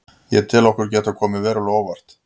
Ég tel okkur geta komið verulega á óvart.